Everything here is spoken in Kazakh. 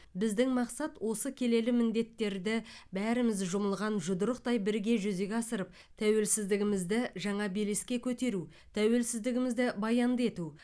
біздің мақсат осы келелі міндеттерді бәріміз жұмылған жұдырықтай бірге жүзеге асырып тәуелсіздігіміз жаңа белеске көтеру тәуелсіздігімізді баянды ету